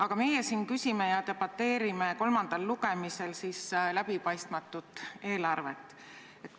Aga meie siin küsime ja debateerime kolmandal lugemisel läbipaistmatu eelarve teemal.